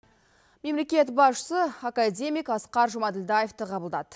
мемлекет басшысы академик асқар жұмаділдаевты қабылдады